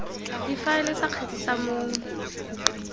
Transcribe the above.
difaele tsa kgetse tsa mong